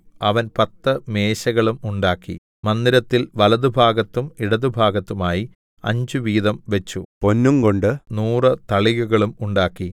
അവൻ പത്തു മേശകളും ഉണ്ടാക്കി മന്ദിരത്തിൽ വലത്തുഭാഗത്തും ഇടത്തുഭാഗത്തുമായി അഞ്ചുവീതം വെച്ചു പൊന്നുംകൊണ്ട് നൂറു തളികകളും ഉണ്ടാക്കി